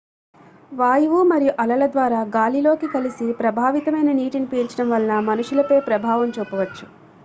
వాయువు మరియు అలల ద్వారా గాలిలోకి కలిసి ప్రభావితమైన నీటిని పీల్చడం వలన మనుషులపై ప్రభావం చూపవచ్చు